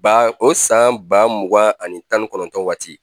Ba o san ba mugan ani tan ni kɔnɔntɔn waati